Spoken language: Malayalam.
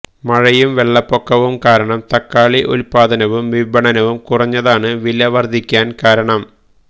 മഴയും വെള്ളപ്പൊക്കവും കാരണം തക്കാളി ഉൽപാദനവും വിപണനവും കുറഞ്ഞതാണ് വില വർധിക്കാൻ കാരണം